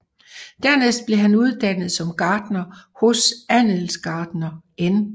Dernæst blev han uddannet som gartner hos handelsgartner N